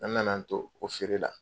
An nana an to o feere la